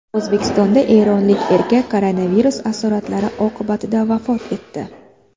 O‘zbekistonda eronlik erkak koronavirus asoratlari oqibatida vafot etdi.